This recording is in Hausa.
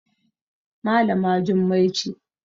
Malama Jummai ce